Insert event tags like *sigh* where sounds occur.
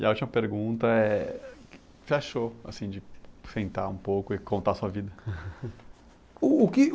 E a última pergunta é... O que você achou, assim de sentar um pouco e contar a sua vida? *laughs* O o que